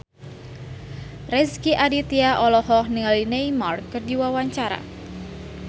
Rezky Aditya olohok ningali Neymar keur diwawancara